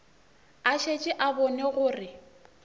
a šetše a bone gore